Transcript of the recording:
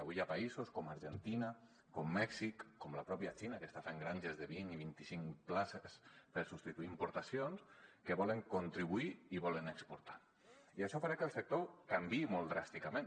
avui hi ha països com argentina com mèxic com la pròpia xina que està fent granges de vint i vint i cinc plantes per substituir importacions que volen contribuir i volen exportar i això farà que el sector canviï molt dràsticament